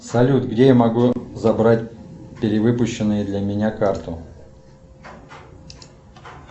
салют где я могу забрать перевыпущенную для меня карту